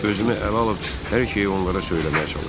Özümü ələ alıb hər şeyi onlara söyləməyə çalışdım.